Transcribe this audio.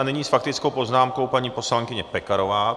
A nyní s faktickou poznámkou paní poslankyně Pekarová.